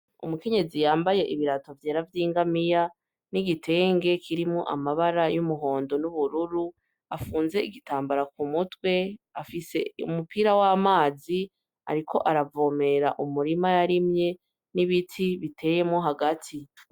Umukenyezi yambaye ibirato vyera vy'ingamiya n'igitenge kirimwo amabara y'umuhondo n'ubururu afunze igitambara k'umutwe afise umupira w'amazi ariko aravomera umurima y'arimye n'ibiti biteyemo hagati.